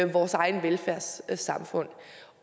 vores eget velfærdssamfund